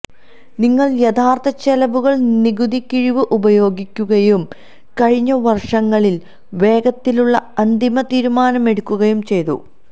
നിങ്ങൾ യഥാർത്ഥ ചെലവുകൾ നികുതി കിഴിവ് ഉപയോഗിക്കുകയും കഴിഞ്ഞ വർഷങ്ങളിൽ വേഗത്തിലുള്ള അന്തിമ തീരുമാനമെടുക്കുകയും ചെയ്തു